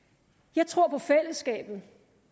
jeg tror på fællesskabet